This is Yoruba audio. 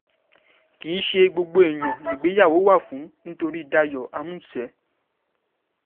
kì í ṣe gbogbo èèyàn nìgbéyàwó wà fún nítorí dayo àmuṣe